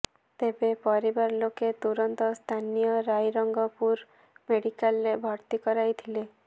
ତେବେ ପରିବାର ଲୋକେ ତୁରନ୍ତ ସ୍ଥାନୀୟ ରାଇରଙ୍ଗପୁର ମେଡିକାଲରେ ଭର୍ତ୍ତି କରାଇଥିଲେ